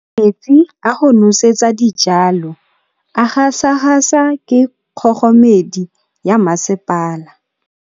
Metsi a go nosetsa dijalo a gasa gasa ke kgogomedi ya masepala.